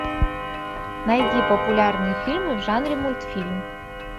найди популярные фильмы в жанре мультфильм